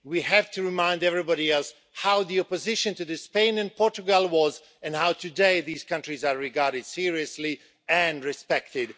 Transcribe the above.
We have to remind everybody else how the opposition to Spain and Portugal was, and how today these countries are regarded seriously and are respected.